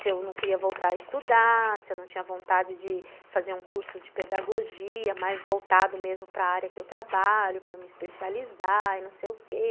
Se eu não queria voltar a estudar, se eu não tinha vontade de fazer um curso de pedagogia, mais voltado mesmo para área que eu trabalho, para me especializar e não sei o quê.